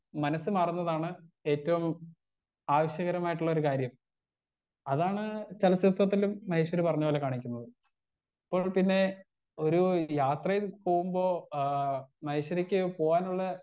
Speaker 1 മനസ്സ് മാറുന്നതാണ് ഏറ്റവും ആവശ്യകരമായിട്ടുള്ളൊരു കാര്യം അതാണ് ചലച്ചിത്രത്തിലും മഹേശ്വരി പറഞ്ഞ പോലെ കാണിക്കുന്നത് ഇപ്പോൾ പിന്നേ ഒരു യാത്രയിൽ പോകുമ്പോ ആ മഹേശ്വരിക്ക് പോകാനുള്ളാ.